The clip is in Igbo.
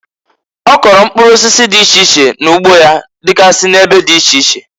Ọ kụlụ mkpụrụ osisi di iche iche n'ugbo ya digasi n'ebe di iche iche.